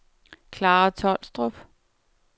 Klara Tolstrup